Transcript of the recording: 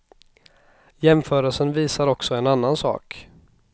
Jämförelsen visar också en annan sak.